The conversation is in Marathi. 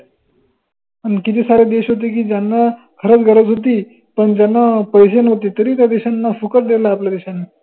अन किती सारे देश होते की ज्यांना खर्च गरज होती पन ज्यांना पैशे नव्हते तरी त्या देशांना फुकट देल आपल्या देशानं